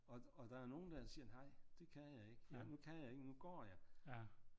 Og der er nogle der siger nej det kan jeg ikke nu kan jeg ikke nu går jeg